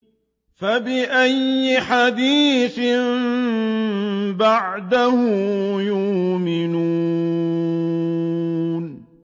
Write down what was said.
فَبِأَيِّ حَدِيثٍ بَعْدَهُ يُؤْمِنُونَ